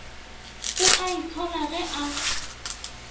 o a itshola ge e